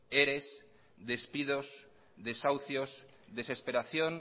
eres despidos desahucios desesperación